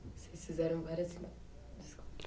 Vocês fizeram várias coisas.